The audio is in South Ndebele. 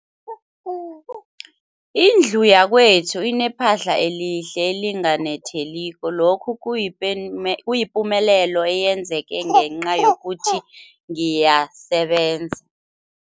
Indlu yakwethu inephahla elihle, elinganetheliko, lokhu kuyipumelelo eyenzeke ngenca yokuthi ngiyasebenza.